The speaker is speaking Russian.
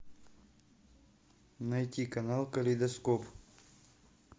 найти канал калейдоскоп